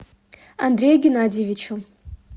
андрею геннадьевичу